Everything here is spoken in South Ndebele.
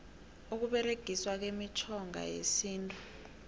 ukuberegiswa kwemitjhoga yesintu